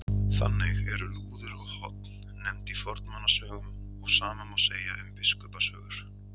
Þannig eru lúður og horn nefnd í fornmannasögum og sama má segja um Biskupasögur.